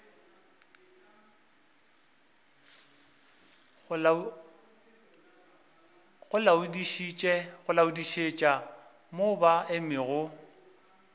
go laodišetša mo ba emego